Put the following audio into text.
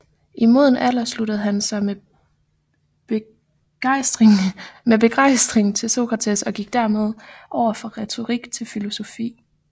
I moden alder sluttede han sig med begejstring til Sokrates og gik dermed over fra retorik til filosofi